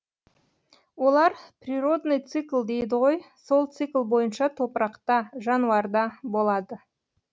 олар природный цикл дейді ғой сол цикл бойынша топырақта жануарда болады